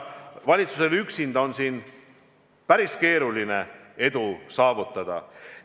Valitsusel üksinda on siin päris keeruline edu saavutada.